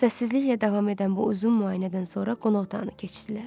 Səssizliklə davam edən bu uzun müayinədən sonra qonaq otağına keçdilər.